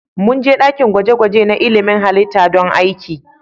Mun je dakin gwaje-gwaje na ilmin halitta don aiki.